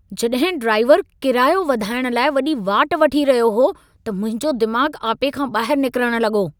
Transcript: जॾहिं ड्राइवर कीरायो वधाइण लाइ वॾी वाट वठी रहियो हो, त मुंहिंजो दिमाग़ु आपे खां ॿाहिरु निकिरण लॻो।